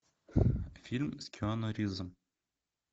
фильм с киану ривзом